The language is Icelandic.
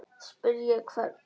Spyrja hvern?